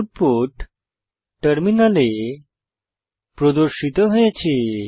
output টার্মিনালে প্রদর্শিত হয়েছে